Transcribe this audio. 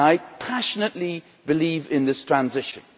I passionately believe in this transition.